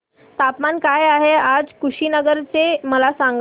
तापमान काय आहे आज कुशीनगर चे मला सांगा